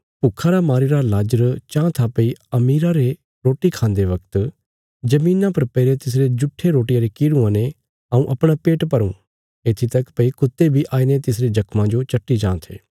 भुक्खा रा मारीरा लाजर चांह था भई अमीरा रे रोटी खान्दे बगत धरतिया पर पैईरे तिसरे जुट्ठे रोटिया रे किरुआं ने हऊँ अपणा पेट भरूं येत्थी तक भई कुत्ते बी आईने तिसरे जख्मां जो चट्टी जां थे